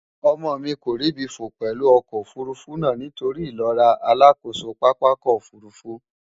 Omo mi ko ribi fo pelu oko ofurufu na nitori ilora alakoso papako ofurufu.